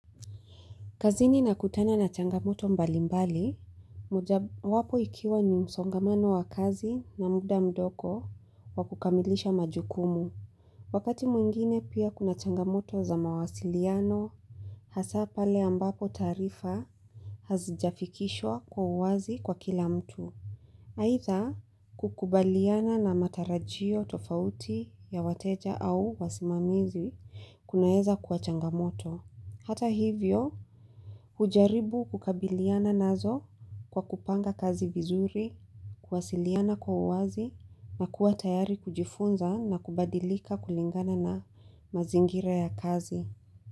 Kazini na kutana na changamoto mbali mbali, mojawapo ikiwa ni msongamano wa kazi na muda mdogo wa kukamilisha majukumu. Wakati mwingine pia kuna changamoto za mawasiliano, hasa pale ambapo tarifa hazijafikishwa kwa uwazi kwa kila mtu. Haitha kukubaliana na matarajio tofauti ya wateja au wasimamizi kunaeza kwa changamoto. Hata hivyo, hujaribu kukabiliana nazo kwa kupanga kazi vizuri, kuwasiliana kwa uwazi na kuwa tayari kujifunza na kubadilika kulingana na mazingira ya kazi.